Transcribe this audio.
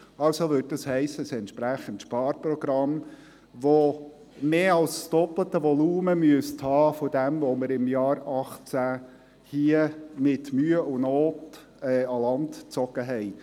Also würde das heissen: ein entsprechendes Sparprogramm, das mehr als das doppelte Volumen dessen haben müsste, welches wir im Jahr 2018 mit Mühe und Not an Land ziehen konnten.